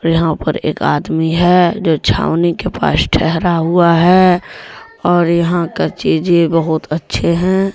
यहां पर एक आदमी है जो छावनी के पास ठहरा हुआ है और यहां का चीजें बहुत अच्छे हैं।